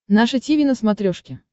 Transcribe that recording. наше тиви на смотрешке